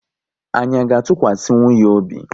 Anyị à ga atukwasinwu ya obi?